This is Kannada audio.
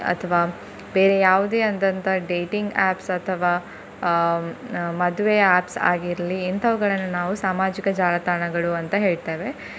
ಅಥ್ವ ಬೇರೆ ಯಾವುದೇ ಆದಂತ dating apps ಅಥವಾ ಅಹ್ ಮದುವೆ apps ಆಗಿರ್ಲಿ ಇಂತವುಗಳನ್ನು ನಾವು ಸಾಮಾಜಿಕ ಜಾಲತಾಣಗಳು ಅಂತ ಹೇಳ್ತೇವೆ.